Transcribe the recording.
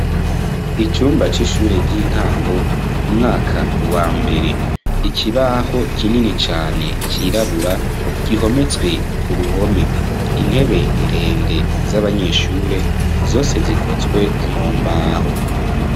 Icumba c'ishure ry'intango umwaka wa mbere ikibaho kinini cane cirabura gihometswe ku ruhome intebe ndende z'abanyeshure zose zikozwe mu mbaho.